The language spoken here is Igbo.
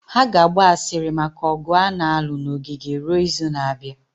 Ha ga-agba asịrị maka ọgụ a na-alụ na ogige ruo izu na-abịa